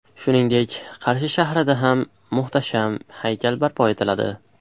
Shuningdek, Qarshi shahrida ham muhtasham haykal barpo etiladi.